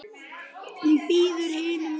Hún bíður hinum megin.